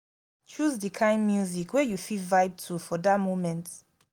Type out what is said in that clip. choose de kind music wey you fit vibe to for that moment